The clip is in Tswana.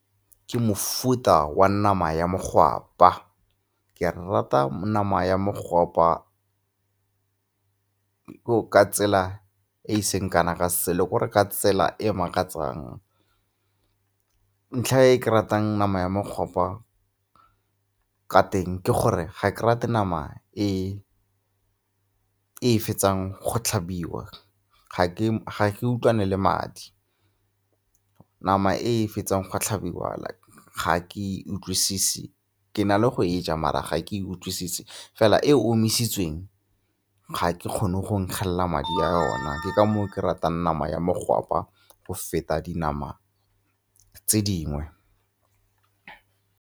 Ke mofuta wa nama ya mogwapa. Ke rata nama ya mogwapa ka tsela e e seng kana ka selo gore k'ore ka tsela e makatsang. Ntlha e ke e ratang nama ya mokgwapa ka teng ke gore ga ke rate nama e e fetsang go tlhabiwa, ga ke utlwane le madi. Nama e e fetsang go tlhabiwa ga ke e utlwise, ke na le go e ja mara ga ke e utlwise, fela e omisitsweng ga ke kgone go nkgelela madi a yona ke ka moo ke ratang nama ya mogwapa go feta dinama tse dingwe.